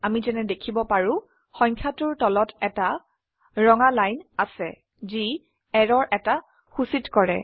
আমি যেনে দেখিব পাৰো সংখ্যাটোৰ তলত এটা ৰঙা লাইন আছে যি এৰৰ এটা সূচিত কৰে